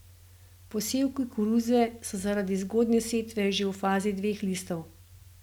Posevki koruze so zaradi zgodnje setve že v fazi dveh listov.